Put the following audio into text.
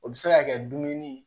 O bɛ se ka kɛ dumuni